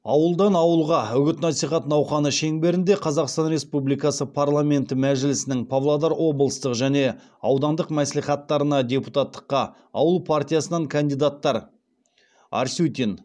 ауылдан ауылға үгіт насихат науқаны шеңберінде қазақстан республикасы парламенті мәжілісінің павлодар облыстық және аудандық мәслихаттарына депутаттыққа ауыл партиясынан кандидаттар арсютин